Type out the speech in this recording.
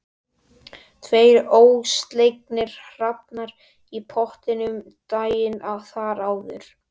Tveir ólseigir hrafnar í pottinum daginn þar áður.